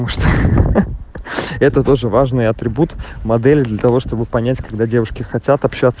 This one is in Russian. это тоже важный атрибут модели для того чтобы понять когда девушки хотят общаться